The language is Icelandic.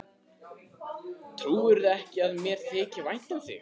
Trúirðu ekki að mér þyki vænt um þig?